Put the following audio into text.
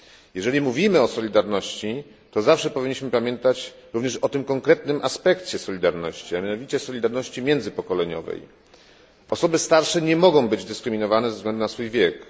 Jeżeli mówimy o solidarności, to zawsze powinniśmy pamiętać również o tym konkretnym aspekcie solidarności, a mianowicie solidarności międzypokoleniowe. Osoby starsze nie mogą być dyskryminowane ze względu na swój wiek.